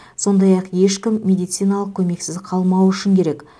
сондай ақ ешкім медициналық көмексіз қалмауы үшін керек